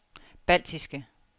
baltiske